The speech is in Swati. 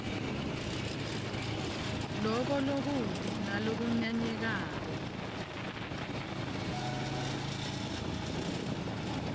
loko lokubi nalokunyanyekako